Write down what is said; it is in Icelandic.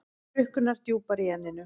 Hrukkurnar djúpar í enninu.